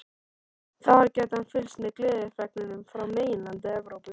Þar gæti hann fylgst með gleðifregnunum frá meginlandi Evrópu.